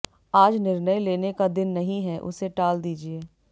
आज निर्णय लेने का दिन नहीं है उसे टाल दीजिए